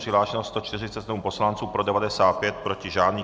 Přihlášeno 147 poslanců, pro 95, proti žádný.